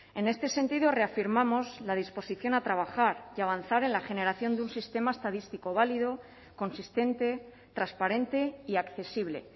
en este sentido reafirmamos la disposición a trabajar y a avanzar en la generación de un sistema estadístico válido consistente transparente y accesible